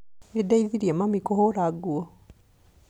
Nĩndeithirie mami kũhũra nguo